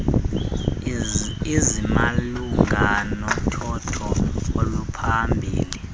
ezimalunga nothotho oluphambili